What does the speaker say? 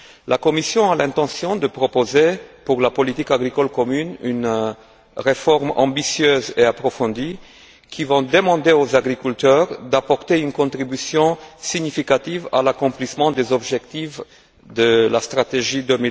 La Commission a l'intention de proposer pour la politique agricole commune une réforme ambitieuse et approfondie qui va demander aux agriculteurs d'apporter une contribution significative à l'accomplissement des objectifs de la stratégie Europe